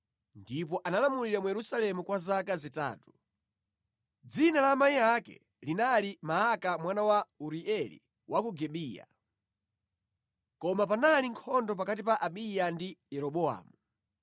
ndipo analamulira mu Yerusalemu kwa zaka zitatu. Dzina la amayi ake linali Maaka mwana wa Urieli wa ku Gibeya. Koma panali nkhondo pakati pa Abiya ndi Yeroboamu.